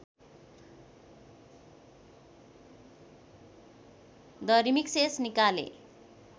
the remixes निकाले